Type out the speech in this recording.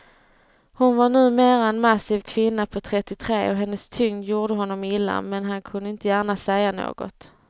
Hon var numera en massiv kvinna på trettiotre och hennes tyngd gjorde honom illa, men han kunde inte gärna säga något.